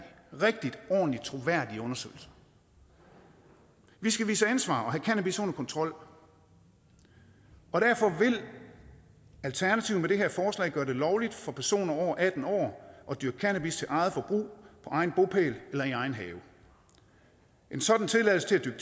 rigtig ordentlige troværdige undersøgelser vi skal vise ansvar og have cannabis under kontrol og derfor vil alternativet med det her forslag gøre det lovligt for personer over atten år at dyrke cannabis til eget forbrug på egen bopæl eller i egen have en sådan tilladelse til at